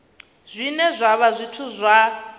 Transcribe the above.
zwine zwa vha zwithu zwa